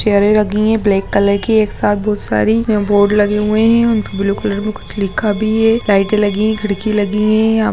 चेयरें लगी हैं ब्लैक कलर की एक साथ बहुत सारी यहाँ बोर्ड लगे हुई हैं उनपे ब्लू कलर में कुछ लिखा भी है लाइटें लगी हैं खिड़की लगी हैं यहाँ पे।